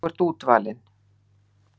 Þú ert útvalinn.